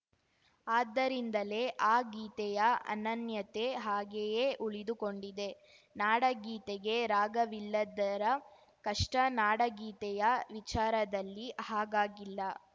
ಆದ್ದರಿಂದಲೇ ಆ ಗೀತೆಯ ಅನನ್ಯತೆ ಹಾಗೆಯೇ ಉಳಿದುಕೊಂಡಿದೆ ನಾಡಗೀತೆಗೆ ರಾಗವಿಲ್ಲದ್ದರ ಕಷ್ಟ ನಾಡಗೀತೆಯ ವಿಚಾರದಲ್ಲಿ ಹಾಗಾಗಿಲ್ಲ